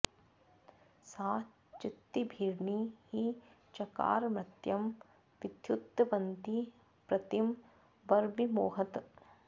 सा चि॒त्तिभि॒र्नि हि च॒कार॒ मर्त्यं॑ वि॒द्युद्भव॑न्ती॒ प्रति॑ व॒व्रिमौ॑हत